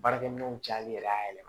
Baarakɛminɛnw cayali yɛrɛ a yɛlɛma